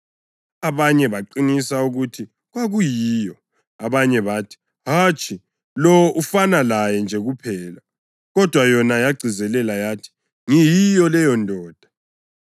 Abanye baqinisa ukuthi kwakuyiyo. Abanye bathi, “Hatshi, lo ufana layo nje kuphela.” Kodwa yona yagcizelela yathi, “Ngiyiyo leyondoda.”